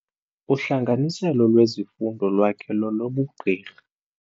Uhlanganiselo lwezifundo lwakhe lolobugqirha.